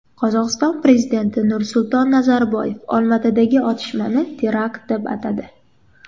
Qozog‘iston prezidenti Nursulton Nazarboyev Olmaotadagi otishmani terakt deb atadi .